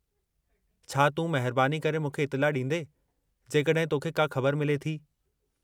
छा तूं महिरबानी करे मूंखे इतिला ॾींदें जेकॾहिं तोखे का ख़बर मिले थी?